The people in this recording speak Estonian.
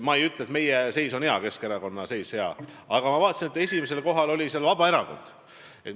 Ma ei ütle, et meie seis, et Keskerakonna seis on hea, aga ma vaatasin, et esimesel kohal oli seal Vabaerakond.